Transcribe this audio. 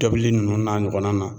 Tobili nunnu n'a ɲɔgɔnna.